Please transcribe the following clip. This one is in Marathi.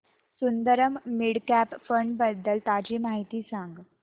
सुंदरम मिड कॅप फंड बद्दल ताजी माहिती सांग